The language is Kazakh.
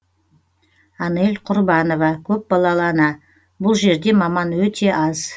анель құрбанова көпбалалы ана бұл жерде маман өте аз